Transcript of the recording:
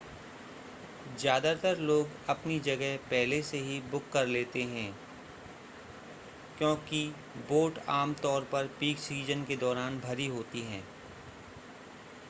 ज़्यादातर लोग अपनी जगह पहले से ही बुक कर लेते हैं क्योंकि बोट आम तौर पर पीक सीज़न के दौरान भरी होती हैं